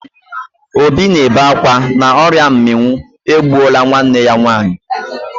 Obi na-ebe akwa na ọrịa mminwụ egbuola nwanne ya nwaanyị.